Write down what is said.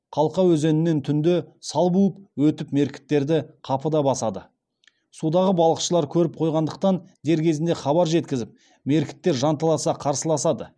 қалқа өзенінен түнде сал буып өтіп меркіттерді қапыда басады судағы балықшылар көріп қойғандықтан дер кезінде хабар жеткізіп меркіттер жанталаса қарсыласады